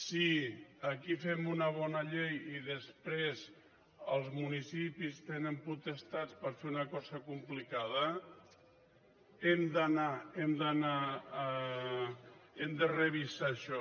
si aquí fem una bona llei i després els municipis tenen potestat per fer una cosa complicada hem d’anar hem de revisar això